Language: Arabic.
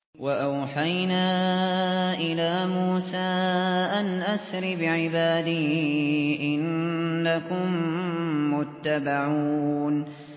۞ وَأَوْحَيْنَا إِلَىٰ مُوسَىٰ أَنْ أَسْرِ بِعِبَادِي إِنَّكُم مُّتَّبَعُونَ